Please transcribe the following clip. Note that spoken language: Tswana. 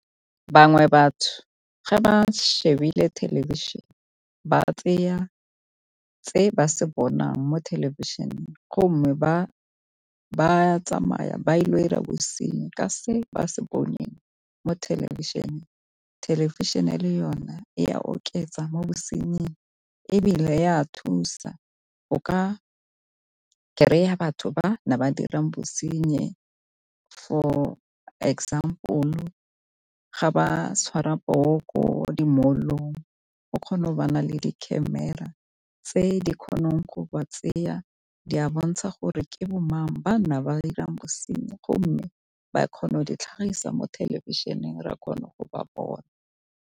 Bangwe batho ga ba shebile thelebišhene ba tseya tse ba se bonang mo thelebišeneng go mme ba ba tsamaya ba ile go dira bosenyi ka se ba se boneng mo thelebišeneng. Thelebišene le yone e a oketsa mo bosenying ebile ya thusa o ka kry-a batho ba ne ba dira bosenyi, for example-lo ga ba tshwara poo ko di-mall-ong o kgono bona le di-camera tse di kgonang go ba tseya di a bontsha gore ke bomang ba ne ba 'irang bosenyi go mme ba kgono di tlhagisa mo thelebišeneng ra kgone go ba bona.